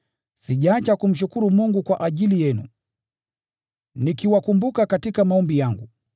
sijaacha kumshukuru Mungu kwa ajili yenu, nikiwakumbuka katika maombi yangu.